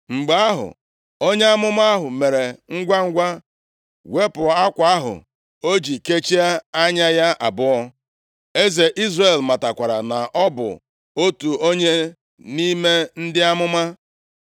Mgbe ahụ, onye amụma ahụ mere ngwangwa wepụ akwa ahụ o ji kechie anya ya abụọ. Eze Izrel matakwara na ọ bụ otu onye nʼime ndị amụma.